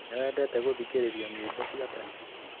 Nĩwendete gũthikĩrĩria nyĩmbo cia tene?